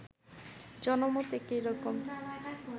জনমত একই রকম